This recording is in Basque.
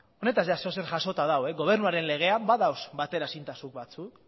honetaz zer edozer jasota dago gobernuaren legea badaude bateraezintasun batzuk